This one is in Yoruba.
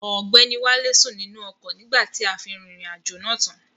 Ọgbẹ́ni wálé sùn nínú ọkọ̀ nígbà tí a fi rìnrìn àjò náà tán.